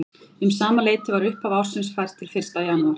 Um sama leyti var upphaf ársins fært til fyrsta janúar.